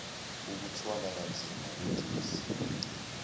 ukuthwala kanzima kogesi